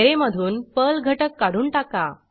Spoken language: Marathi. ऍरे मधून पर्ल घटक काढून टाका